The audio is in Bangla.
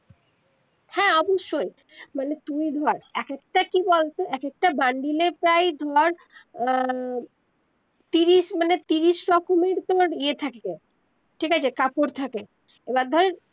হ্যা অবশ্যই মানে তুই ধর এক একটা কি বল তো এক একটা bundle এ প্রায় ধর আহ তিরিশ মানে তিরিশ রকমের তর ইয়ে থাকে ঠিক আছে কাপড় থাকে এবার ধর